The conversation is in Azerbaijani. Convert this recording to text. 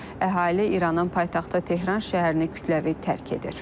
Əhali İranın paytaxtı Tehran şəhərini kütləvi tərk edir.